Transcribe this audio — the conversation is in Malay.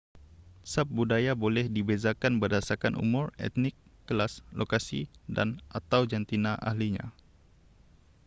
subbudaya boleh dibezakan berdasarkan umur etnik kelas lokasi dan/atau jantina ahlinya